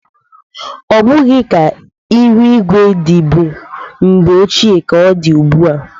Ọ bụghị ka ịhụ igwe dịbụ mgbe ochie ka ọ dị ugbu a.